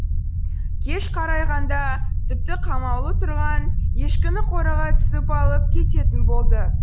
кеш қарайғанда тіпті қамаулы тұрған ешкіні қораға түсіп алып кететін болды